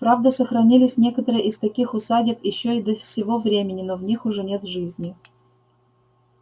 правда сохранились некоторые из таких усадеб ещё и до сего времени но в них уже нет жизни